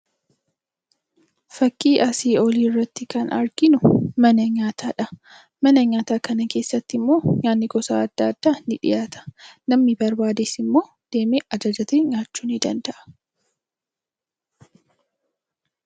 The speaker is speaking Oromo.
Fakkii asii olii irratti kan arginu mana nyaataa dha. Mana nyaataa kana keessatti immoo nyaanni gosa adda addaa ni dhiyaata. Namni barbaades immoo deemee ajajatee nyaachuu ni danda'a.